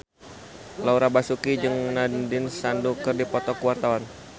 Laura Basuki jeung Nandish Sandhu keur dipoto ku wartawan